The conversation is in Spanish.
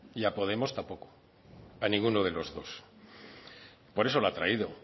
y a podemos tampoco a ninguno de los dos por eso la ha traído